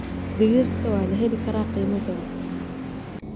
Digirta waa la heli karaa qiimo jaban.